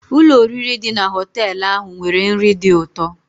Ụlọ oriri dị na họtel ahụ nwere nri dị ụtọ.